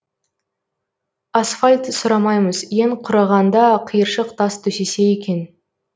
асфальт сұрамаймыз ең құрығанда қиыршық тас төсесе екен